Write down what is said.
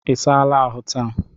I saala ahụ taa?